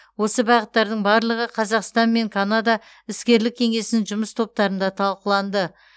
осы бағыттардың барлығы қазақстан мен канада іскерлік кеңесінің жұмыс топтарында талқыланды